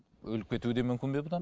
өліп кетуі де мүмкін бе бұдан